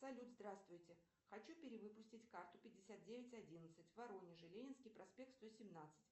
салют здравствуйте хочу перевыпустить карту пятьдесят девять одиннадцать в воронеже ленинский проспект сто семнадцать